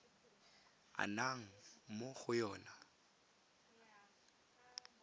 a nnang mo go yona